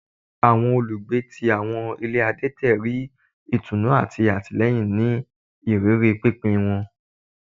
Awọn olugbe ti awọn ile adẹtẹ ri itunu ati atilẹyin ni iriri pinpin wọn